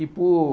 E por...